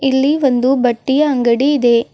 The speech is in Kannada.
ಇಲ್ಲಿ ಒಂದು ಬಟ್ಟೆಯ ಅಂಗಡಿ ಇದೆ.